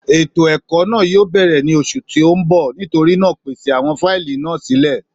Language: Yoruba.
Ètò èkó náà yíò bèrè ní oṣù tí o nbọ, nítorínà pèsè àwọn fáìlì náà sílè